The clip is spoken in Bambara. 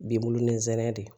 Binbulu ni zɛnɛ de